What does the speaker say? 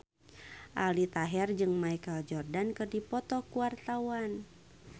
Aldi Taher jeung Michael Jordan keur dipoto ku wartawan